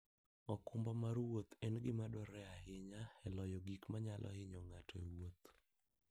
okumba mar wuoth en gima dwarore ahinya e loyo gik manyalo hinyo ng'ato e wuoth.